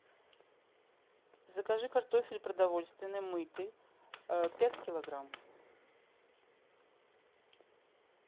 закажи картофель продовольственный мытый пять килограмм